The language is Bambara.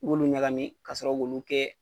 I b'olu ɲagami ka sɔrɔ k'olu kɛ